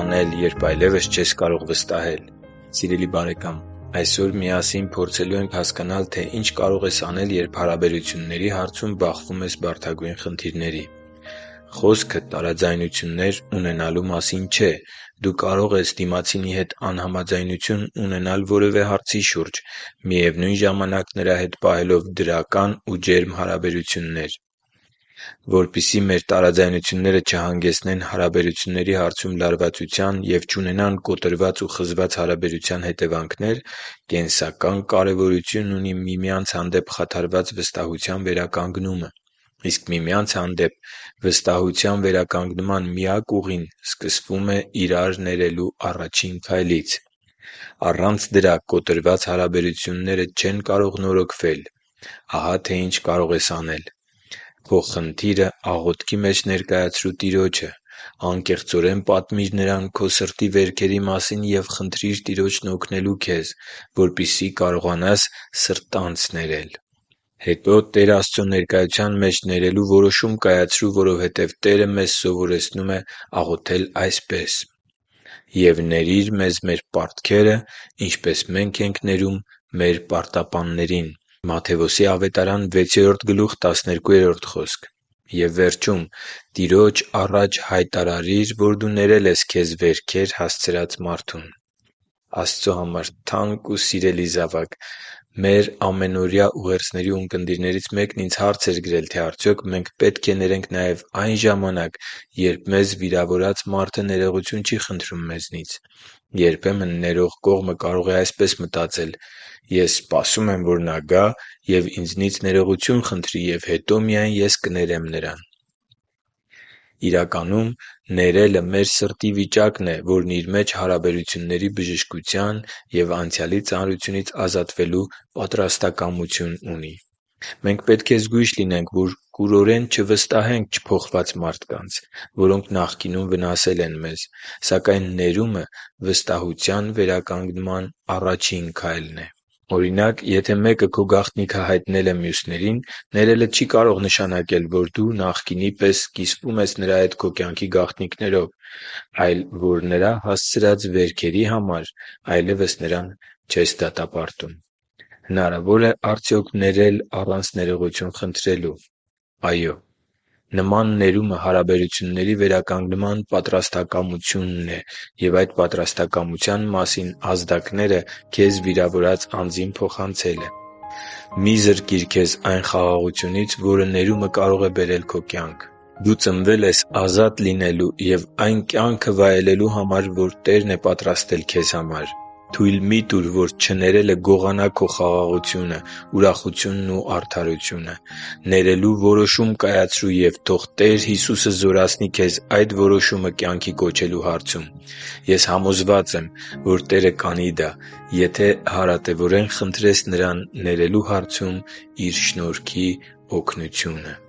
անել, երբ այլևս չես կարող վստահել․․․ Սիրելի՛ բարեկամ, այսօր միասին փորձելու ենք հասկանալ, թե ինչ կարող ես անել, երբ հարաբերությունների հարցում բախվում ես բարդագույն խնդիրների։ Խոսքը տարաձայնություններ ունենալու մասին չէ։ Դու կարող ես դիմացինի հետ անհամաձայնություն ունենալ որևէ հարցի շուրջ՝ միևնույն ժամանակ նրա հետ պահելով դրական ու ջերմ հարաբերություններ։ Որպեսզի մեր տարաձայնությունները չհանգեցնեն հարաբերությունների հարցում լարվածության և չունենան կոտրված ու խզված հարաբերության հետևանքներ, կենսական կարևորություն ունի միմյանց հանդեպ խաթարված վստահության վերականգնումը։ Իսկ միմյանց հանդեպ վստահության վերականգնման միակ ուղին սկսվում է իրար ներելու առաջին քայլից։ Առանց դրա կոտրված հարաբերությունները չեն կարող նորոգվել։ Ահա թե ինչ կարող ես անել… - Քո խնդիրը աղոթքի մեջ ներկայացրու Տիրոջը։ Անկեղծորեն պատմի՛ր Նրան քո սրտի վերքերի մասին և խնդրի՛ր Տիրոջն օգնել քեզ, որպեսզի կարողանաս սրտանց ներել։ - Հետո Տեր Աստծո ներկայության մեջ ներելու որոշում կայացրու, որովհետեւ Տերը մեզ սովորեցնում է աղոթել այսպես. «Եվ ների՛ր մեզ մեր պարտքերը, ինչպես մենք ենք ներում մեր պարտապաններին» (Մատթեոս 6․12)։ - Եվ վերջում, Տիրոջ առաջ հայտարարիր, որ դու ներել ես քեզ վերքեր հասցրած մարդկանց։ Աստծո համար թանկ ու սիրելի՛ զավակ, մեր ամենօրյա ուղերձների ունկնդիրներից մեկն ինձ հարց էր գրել, թե արդյոք մենք պետք է ներենք նաև այն ժամանակ, երբ մեզ վիրավորած մարդը ներողություն չի խնդրում մեզնից։ Երբեմն ներող կողմը կարող է այսպես մտածել. «Ես սպասում եմ, որ նա գա ու ինձնից ներողություն խնդրի, և հետո միայն ես կներեմ նրան»։ Ներելը մեր սրտի վիճակն է, որն իր մեջ հարաբերությունների բժշկության ու անցյալի ծանրությունից ազատվելու պատրաստակամություն ունի։ Մենք պետք է զգույշ լինենք, որ կուրորեն չվստահենք չփոխված մարդկանց, որոնք նախկինում վնասել են մեզ։ Սակայն ներումը վստահության վերականգնման առաջին քայլն է։ Օրինակ, եթե մեկը քո գաղտնիքը հայտնել է մյուսներին, ներելը չի կարող նշանակել, որ դու նախկինի պես կիսվում ես նրա հետ քո կյանքի գաղտնիքներով, այլ որ նրա հասցրած վերքերի համար այլևս նրան չես դատապարտում։ Հնարավո՞ր է արդյոք ներել առանց ներողություն խնդրելու։ Այո՛։ Նման ներումը հարաբերությունների վերականգնման պատրաստականությունն է և այդ պատրաստակամության մասին ազդակները քեզ վիրավորած անձին փոխանցելը։ Մի՛ զրկիր քեզ այն խաղաղությունից, որը ներումը կարող է բերել քո կյանք։ Դու ծնվել ես ազատ լինելու և այն կյանքը վայելելու համար, որը Տերն է պատրաստել քեզ համար։ Թույլ մի՛ տուր, որ չներելը գողանա քո խաղաղությունը, ուրախությունն ու արդարությունը։ Ներելու որոշում կայացրո՛ւ, և թող Տեր Հիսուսը զորացնի քեզ այդ որոշումը կյանքի կոչելու հարցում։ Ես համոզված եմ, որ Տերը կանի դա, եթե հարատևորեն խնդրես Նրանից ներելու հարցում Իր շնորհի օգնությունը․․․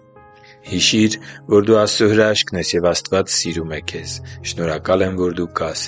Հիշի՛ր, որ դու Աստծո հրաշքն ես, և Աստված սիրում է քեզ։ Շնորհակալ եմ, որ դու կա՛ս